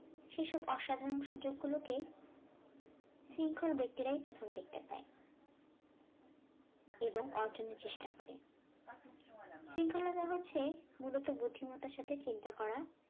সেসব অসাধারন সুযোগগুলোকে শৃঙ্খল ব্যক্তিরাই প্রথম দেখতে পায় এবং অর্জনের চেষ্টা করে শৃঙ্খলতা হচ্ছে মূলত বুদ্ধিমতার সাথে চিন্তা করা